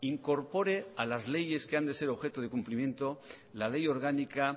incorpore a las leyes que han de ser objeto de cumplimiento la ley orgánica